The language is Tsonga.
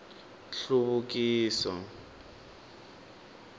nhluvukiso